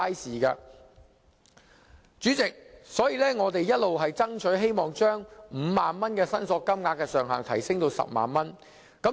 所以，代理主席，我們一直爭取把5萬元申索金額的上限提升至10萬元。